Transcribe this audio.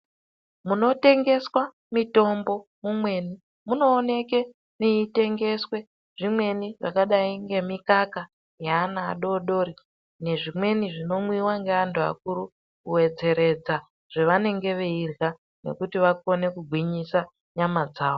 Munotengeswa mitombo mumweni, munooneke meitengeswe zvimweni zvakadai ngemikaka yaana adodori nezvimweni zvinomwiwa ngaantu akuru, kuwedzeredza zvevanenge veirya nekuti vakone kugwinyisa nyama dzavo.